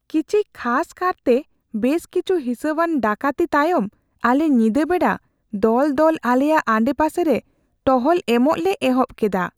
ᱠᱤᱪᱷᱤ ᱠᱷᱟᱥ ᱠᱟᱨᱛᱮ ᱵᱮᱥ ᱠᱤᱪᱷᱩ ᱦᱤᱸᱥᱟᱣᱟᱱ ᱰᱟᱹᱠᱟᱹᱛᱤ ᱛᱟᱭᱚᱢ ᱟᱞᱮ ᱧᱤᱫᱟᱹ ᱵᱮᱲᱟ ᱫᱚᱞ ᱫᱚᱞ ᱟᱞᱮᱭᱟᱜ ᱟᱰᱮᱯᱟᱥᱮ ᱨᱮ ᱴᱚᱦᱚᱞ ᱮᱢᱚᱜ ᱞᱮ ᱚᱦᱚᱵ ᱠᱮᱫᱟ ᱾